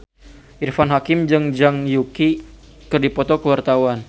Irfan Hakim jeung Zhang Yuqi keur dipoto ku wartawan